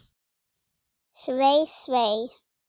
Svei, svei.